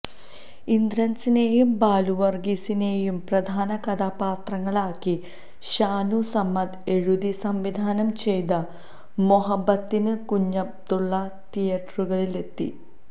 ഇന്ദ്രന്സിനെയും ബാലുവര്ഗീസിനെയും പ്രധാന കഥാപാത്രങ്ങളാക്കി ഷാനു സമദ് എഴുതി സംവിധാനംചെയ്ത മൊഹബത്തിന് കുഞ്ഞബ്ദുള്ള തിയേറ്ററുകളിലെത്തി